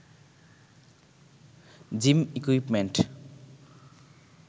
gym equipment